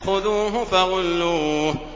خُذُوهُ فَغُلُّوهُ